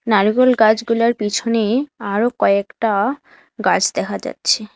নারকোল গাছগুলার পিছনে আরো কয়েকটা গাছ দেখা যাচ্ছে।